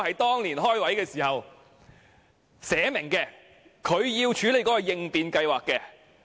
當年新增職位時寫明，他要處理應變計劃。